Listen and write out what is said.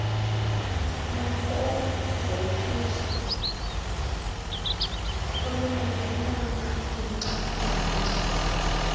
nefezekiso olungenamagingxi gingxi